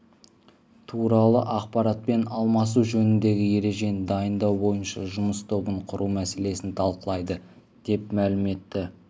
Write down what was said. туралы ақпаратпен алмасу жөніндегі ережені дайындау бойынша жұмыс тобын құру мәселесін талқылайды деп мәлім етті